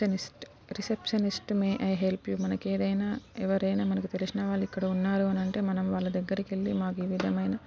receptionist receptionist may I help you మనకి ఏదైనా ఎవరైన మనకి ఎవరైనా తెల్సిన వాలు ఇక్కడ ఉన్నారు అని అంటే మనం వాలా దగ్గరకు వెళ్లి మాకు ఏ విధం ఐన--